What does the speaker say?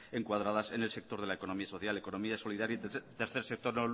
encuadradas en el sector de la economía social economía solidaria y tercer sector